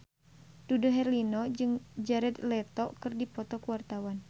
Dude Herlino jeung Jared Leto keur dipoto ku wartawan